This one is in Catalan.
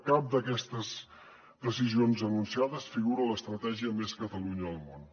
cap d’aquestes decisions anunciades figura a l’estratègia més catalunya al món